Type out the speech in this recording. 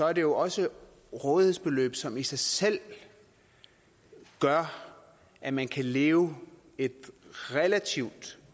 er det jo også rådighedsbeløb som i sig selv gør at man kan leve et relativt